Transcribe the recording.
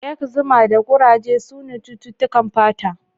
Ekzima da kuraje sune cututtukan fata.